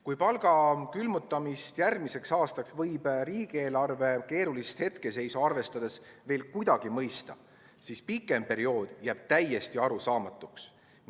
Kui palga külmutamist järgmiseks aastaks võib riigieelarve keerulist hetkeseisu arvestades veel kuidagi mõista, siis pikem periood jääb täiesti arusaamatuks.